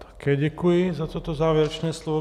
Také děkuji za toto závěrečné slovo.